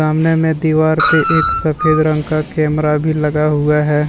सामने में दीवार पे एक सफेद रंग का कैमरा भी लगा हुआ है।